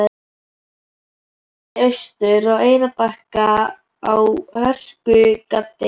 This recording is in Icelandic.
Ég brunaði austur á Eyrarbakka í hörkugaddi.